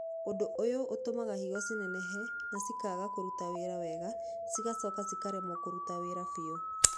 Ũndũ ũyũ ũtũmaga higo cinenehe na cikaga kũruta wĩra wega cigacoka cikaremwo kũruta wĩra biũ.